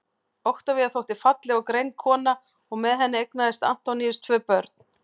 oktavía þótti falleg og greind kona og með henni eignaðist antoníus tvö börn